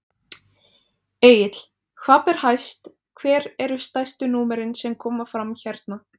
Egill, hvað ber hæst, hver eru stærstu númerin sem koma fram hérna?